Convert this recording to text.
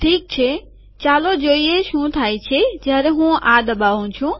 ઠીક છે ચાલો જોઈએ શું થાય છે જયારે હું આ દબાવું છું